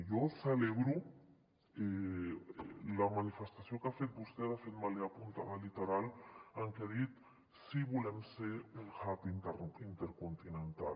jo celebro la manifestació que ha fet vostè de fet me l’he apuntada literalment en què ha dit sí volem ser un hub intercontinental